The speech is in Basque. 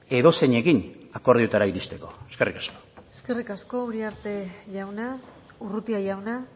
edozeinekin akordioetara iristeko eskerrik asko eskerrik asko urrutia jauna